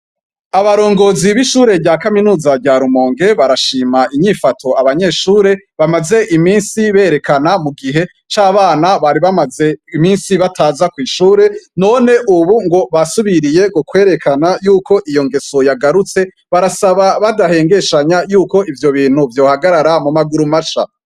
Abarongozi b'ishure rya kaminuza ryarumonge barashima inyifato abanyeshure bamaze imisi berekana mu gihe c'abana bari bamaze imisi bataza kw'ishure none, ubu ngo basubiriye gu kwerekana yuko iyo ngeso yagarutse barasaba badahengeshanya yuko ivyo bintu vyohagarara mu maguru maca.